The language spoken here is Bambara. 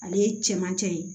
Ale ye cɛmancɛ ye